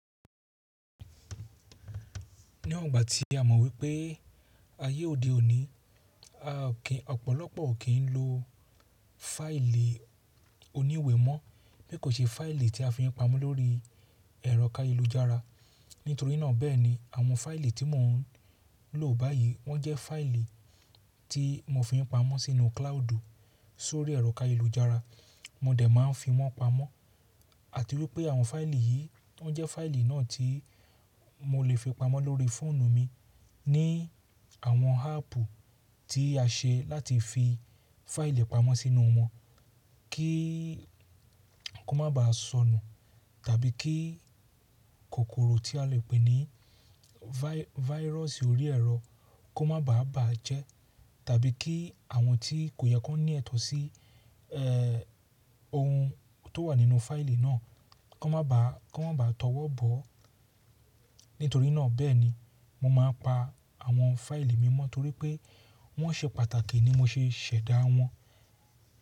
Níwọngbà tí a mọ̀ wípé ayé òde òní, ọ̀pọ̀lọpọ̀ o kì í ń lo fáìlì oníwe mọ́ bí kò ṣe fáìlì tí a fi ń pamọ́ lórí ẹ̀rọ ayélujára. Nítorí náà bẹ́ẹ̀ni àwọn fáìlì tí mò ń lò báyìí wọ́n jẹ́ fáìlì tí mo fi ń pamọ́ sínú cloud sórí ẹ̀rọ káyelújára. Mo dẹ̀ máa ń fi wọ́n pamọ́. Àti wípé àwọn fáìlì yìí wọ́n jẹ́ fáìlì náà tí mo lè fi pamọ́ lórí fóònù mi ní àwọn áàpù tí a ṣe láti fi fáìlì pamọ́ sínú wọn kí ko má bàá sọnù tàbí kí kòkòrò tí a lè pè ní váírọ̀sì orí ẹ̀rọ kó má bàá bàá jẹ́ tàbí kí àwọn tí kò yẹ kó ní ẹ̀tọ́ sí eh ohun tó wà nínú fáìlì náà kó má bàá kó má bàá tọwọ́ bọ́. Nítorí náà bẹ́ẹ̀ni mo máa ń pa àwọn fáìlì mi mọ́ torí pé wọ́n ṣe pàtàkì ni mo ṣe ṣẹ̀dá wọn.